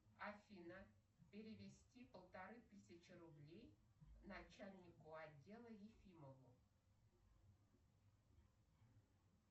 афина перевести полторы тысячи рублей начальнику отдела ефимову